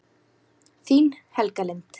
Þín, Helga Lind.